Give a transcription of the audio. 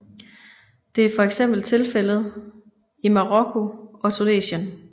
Det er for eksempel tilfældet i Marokko og Tunesien